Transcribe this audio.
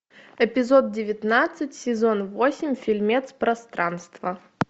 эпизод девятнадцать сезон восемь фильмец пространство